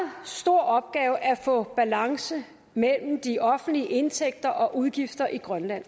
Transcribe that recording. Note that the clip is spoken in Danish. stor opgave at få balance mellem de offentlige indtægter og udgifter i grønland